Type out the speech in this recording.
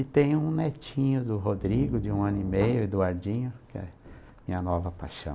E tem um netinho do Rodrigo, de um ano e meio, Eduardinho, que é a minha nova paixão.